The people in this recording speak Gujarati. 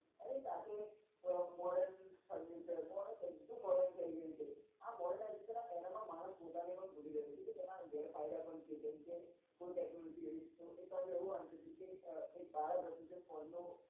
એની સાથે modern furniture modern બધું જ modern થઇ ગયું છે આ modernization era માં માણસ પોતાને પણ ભૂલી ગયો છે કે એના ગેરફાયદા પણ છે જેમ કે કોઈ technology એવી છે તો એક વાર મેં એવું વાંચ્યું તું કે અ એક બાળક હતું તે ફોન નો